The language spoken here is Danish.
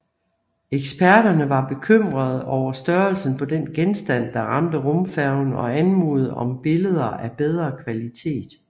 Eksperterne var bekymrede over størrelsen på den genstand der ramte rumfærgen og anmodede om billeder af bedre kvalitet